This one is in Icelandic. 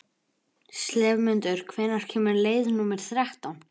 slefmundur, hvenær kemur leið númer þrettán?